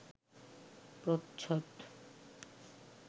প্রচ্ছদ